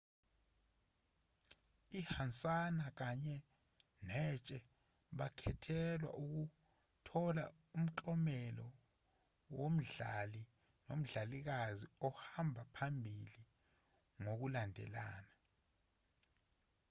ihansana kanye netshe bakhethelwa ukuthola umklomelo womdlali nomdlalikazi ohamba phambili ngokulandelana